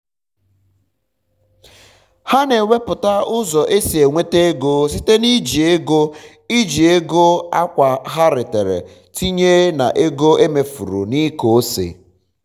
ha na ewepụta ụzọ esi enweta ego site na iji ego iji ego akwa ha retara tinye na ego emefuru na ịkọ ose.